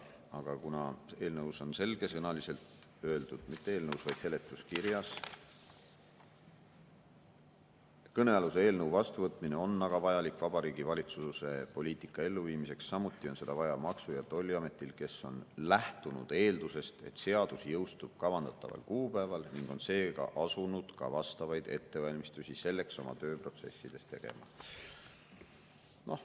Aga eelnõus on selgesõnaliselt öeldud, mitte eelnõus, vaid seletuskirjas: "Kõnealuse eelnõu vastuvõtmine on aga vajalik Vabariigi Valitsuse poliitika elluviimiseks, samuti on seda vaja Maksu‑ ja Tolliametil, kes on lähtunud eeldusest, et seadus jõustub kavandataval kuupäeval, ning on seega asunud ka vastavaid ettevalmistusi selleks oma tööprotsessides tegema.